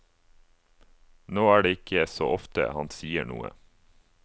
Nå er det ikke så ofte han sier noe.